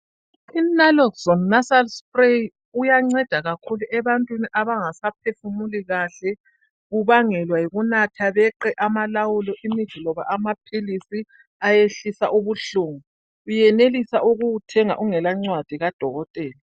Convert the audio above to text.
INaloxone nasal spray uyanceda kakhulu ebantwini abangasaphefumuli kahle ubangelwa yikunatha beqe amalawulo imithi loba amaphilisi ayehlisa ubuhlungu. Uyenelisa ukuwuthenga ungela ncwadi kadokotela.